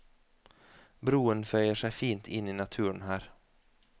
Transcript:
Broen føyer seg fint inn i naturen her.